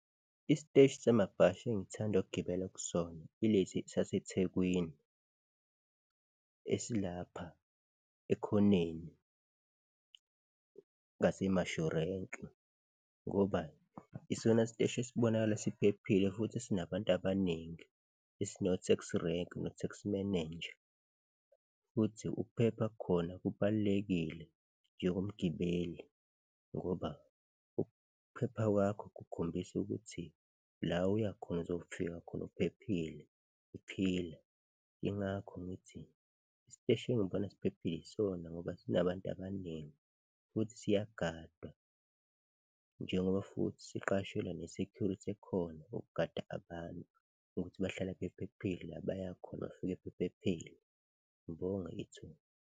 Isiteshi samabhasi engithanda ukugibela kusona ilesi saseThekwini, esilapha ekhoneni ngase-Mashu Rank-i ngoba isona siteshi esibonakala siphephile futhi esinabantu abaningi, esino-taxi rank no-taxi manager futhi ukuphepha khona kubalulekile njengomgibeli ngoba ukuphepha kwakho kukhombisa ukuthi la uya khona uzofika khona uphephile uphila. Yingakho ngithi isiteshi engibona siphephile yisona ngoba sinabantu abaningi futhi siyagadwa njengoba futhi siqashile ne-security ekhona, ukugada abantu ukuthi bahlala bephephile, la baya khona bafike bephephile. Ngibonge ithuba.